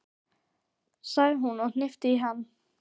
sagði hún og hnippti í hann.